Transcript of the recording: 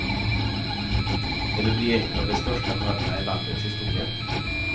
Det lär bli ett av de största mötena i landets historia.